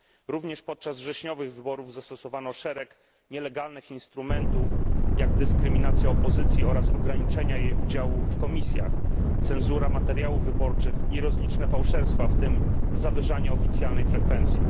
Również podczas wrześniowych wyborów zastosowano szereg nielegalnych instrumentów, jak dyskryminacja opozycji oraz ograniczenia jej udziału w komisjach, cenzura materiałów wyborczych i rozliczne fałszerstwa, w tym zawyżanie oficjalnej frekwencji.